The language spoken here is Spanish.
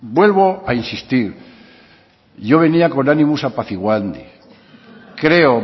vuelvo a insistir yo venía con animus apaciguandi creo